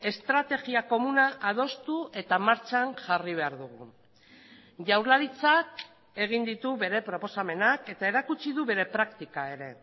estrategia komuna adostu eta martxan jarri behar dugu jaurlaritzak egin ditu bere proposamenak eta erakutsi du bere praktika ere